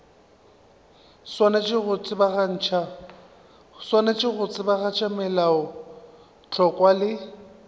swanetše go tsebagatša melaotlhakwa le